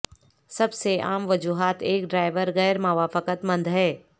سب سے عام وجوہات ایک ڈرائیور غیر موافقت مند ہے